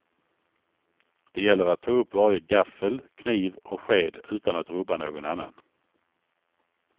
Det gäller att ta upp varje gaffel, kniv och sked utan att rubba någon annan.